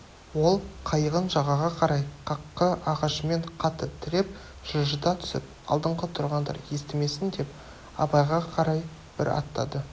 ол қайығын жағаға қарай қаққы ағашымен қатты тіреп жылжыта түсіп алдыңғы тұрғандар естімесін деп абайға қарай бір аттады